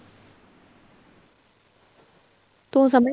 ਤੂੰ ਸਮਝ